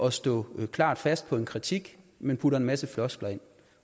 at stå klart fast på en kritik men bruger en masse floskler